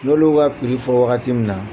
N'ol'u ka piri fɔ wagati min na